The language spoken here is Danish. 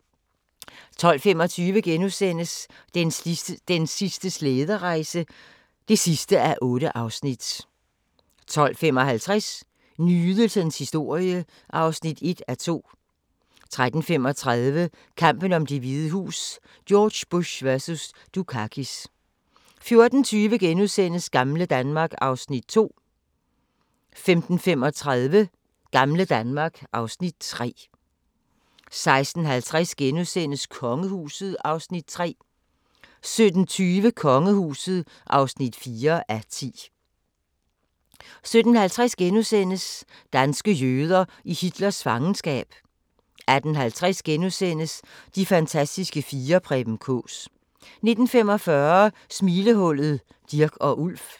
12:25: Den sidste slæderejse (8:8)* 12:55: Nydelsens historie (1:2) 13:35: Kampen om Det Hvide Hus: George Bush vs. Dukakis 14:20: Gamle Danmark (Afs. 2)* 15:35: Gamle Danmark (Afs. 3) 16:50: Kongehuset (3:10)* 17:20: Kongehuset (4:10) 17:50: Danske jøder i Hitlers fangenskab * 18:50: De fantastiske fire: Preben Kaas * 19:45: Smilehullet: Dirch og Ulf